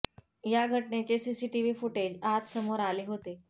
या घटनेचे CCTV footage आज समोर आले होते